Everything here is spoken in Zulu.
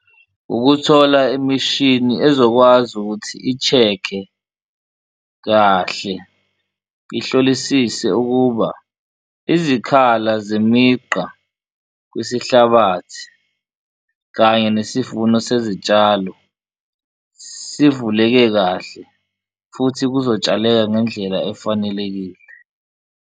Ukuthola imishini ezokwazi ukuthi i-check-e kahle ihlolisise ukuba izikhala zemigqa kwesihlabathi kanye nesivuno sezitshalo sivuleke kahle futhi kuzotshaleka ngendlela efanelekile.